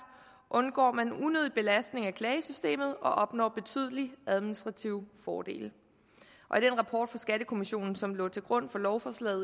undgår man unødig belastning af klagesystemet og opnår betydelige administrative fordele og den rapport fra skattekommissionen som lå til grund for lovforslaget